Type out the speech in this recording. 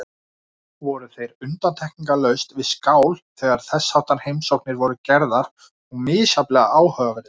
Voru þeir undantekningarlaust við skál þegar þessháttar heimsóknir voru gerðar og misjafnlega áhugaverðir.